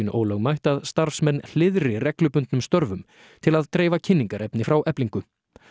ólögmætt að starfsmenn hliðri reglubundnum störfum til að dreifa kynningarefni frá Eflingu